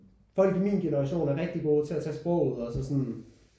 Folk i min generation er rigtig gode til at tage sproget også og sådan